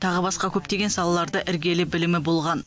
тағы басқа көптеген салада іргелі білімі болған